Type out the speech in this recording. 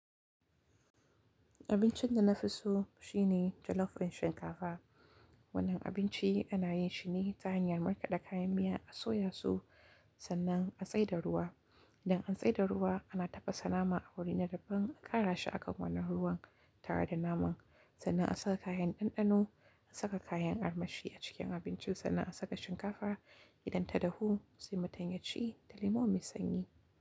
Abincin da na fi so shine jollof ɗin shinkafa. Wannan abinci ana yin shi ne ta hanyar markaɗa kayan miya, a soya su sannan a tsai da ruwa. Idan an tsai da ruwa, ana tafasa nama a wuri na dabban, a ƙara shi a kan wannan ruwan tare da naman, sannan a saka kayan ɗanɗano. An saka kayan armashi a cikin abincin sannan a saka shinkafa idan ta dahu sai mutunm yaci da lemo mai sanyi.